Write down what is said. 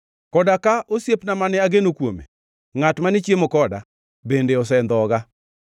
Koda ka osiepna mane ageno kuome, ngʼat mane chiemo koda, bende osendhoga.